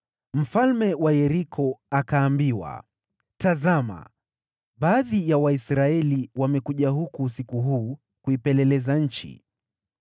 Mfalme wa Yeriko akaambiwa, “Tazama! Baadhi ya Waisraeli wamekuja huku usiku huu kuipeleleza nchi.”